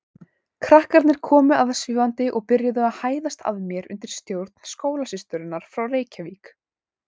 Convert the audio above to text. Krakkarnir komu aðvífandi og byrjuðu að hæðast að mér undir stjórn skólasysturinnar frá Reykjavík.